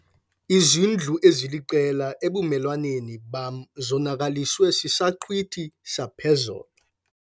Izindlu eziliqela ebumelwaneni bam zonakaliswe sisaqhwithi saphezolo.